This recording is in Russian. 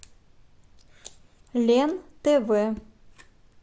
лен тв